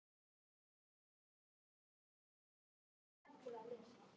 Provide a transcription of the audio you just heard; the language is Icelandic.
Ég er maðurinn!